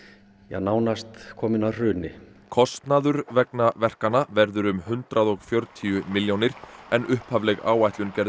nánast kominn að hruni kostnaður vegna verkanna verður um hundrað og fjörutíu milljónir en upphafleg áætlun gerði